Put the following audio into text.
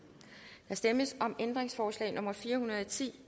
der stemmes om ændringsforslag nummer fire hundrede og ti